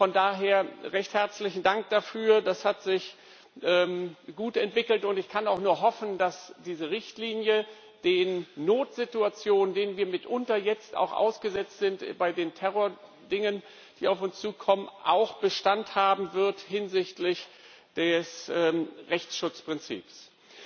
Von daher recht herzlichen Dank dafür. Das hat sich gut entwickelt, und ich kann auch nur hoffen, dass diese Richtlinie bei den Notsituationen, denen wir mitunter jetzt auch ausgesetzt sind, bei den Terrordingen, die auf uns zukommen, auch hinsichtlich des Rechtsschutzprinzips Bestand haben